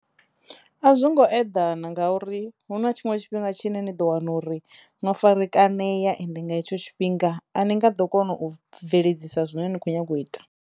A zwongo eḓana ngauri hu na tshiṅwe tshifhinga tshine ni ḓo wana uri no farakaneya ende nga hetsho tshifhinga a ni nga ḓo kona u bveledzisa zwine ni khou nyanga u ita.